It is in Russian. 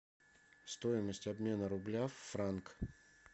стоимость обмена рубля в франк